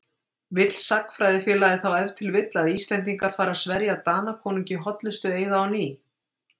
Vill Sagnfræðingafélagið þá ef til vill að Íslendingar fari að sverja Danakonungi hollustueiða á ný?